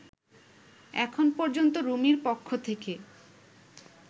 এখন পর্যন্ত রুমির পক্ষ থেকে